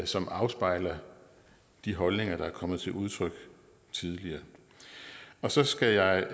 som afspejler de holdninger der er kommet til udtryk tidligere så skal jeg